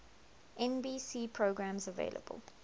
nbc programs available